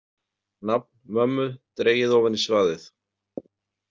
Nafn mömmu dregið ofan í svaðið.